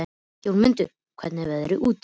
Jómundur, hvernig er veðrið úti?